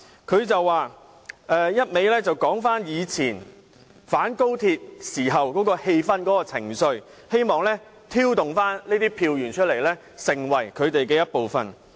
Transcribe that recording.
他不斷提及過往的反高鐵氣氛和情緒，希望挑動當中的人站出來成為他們的一部分。